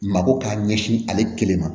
Mako k'a ɲɛsin ale kelen ma